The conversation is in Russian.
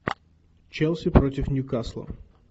челси против ньюкасла